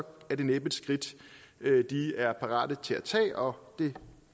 er det næppe et skridt de er parat til at tage og det